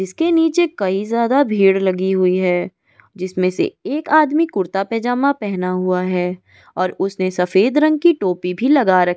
ईसके नीचे कई ज्यादा भीड़ लगी हुई है जिसमे से एक आदमी कुर्ता पैजामा पेहना हुआ है और उसने सफ़ेद रंग की टोपी भी लगा र --